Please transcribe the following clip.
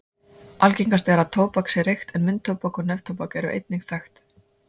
algengast er að tóbak sé reykt en munntóbak og neftóbak eru einnig þekkt